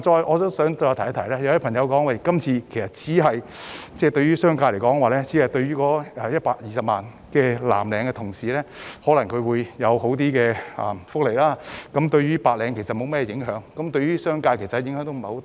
我亦想指出，有些人認為這次修例只是為120萬名藍領同事提供較好的福利，對白領無甚影響，所以對商界的影響亦不大。